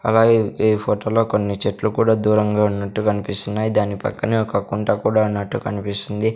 అలాగే ఈ ఫొటో లో కొన్ని చెట్లు కూడా దూరంగా ఉన్నట్టు కన్పిస్తున్నాయి దాని పక్కనే ఒక కుంట కూడా ఉన్నట్టు కనిపిస్తుంది.